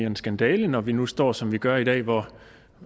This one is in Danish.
en skandale når vi nu står som vi gør i dag hvor